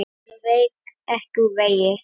Hann vék ekki úr vegi.